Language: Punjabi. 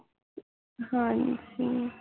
ਹਾਂ ਜੀ